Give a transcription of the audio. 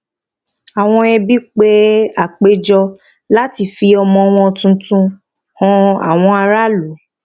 àwọn ẹbí pe àpéjọ láti fi ọmọ wọn tuntun han àwọn ará ìlú